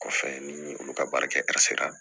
Kɔfɛ ni olu ka baara kɛ la